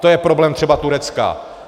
To je problém třeba Turecka.